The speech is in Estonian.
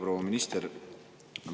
Proua minister!